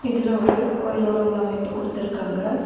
இதுல ஒரு கோவிலோட உள்ளமைப்பு கொடுத்துருக்காங்க.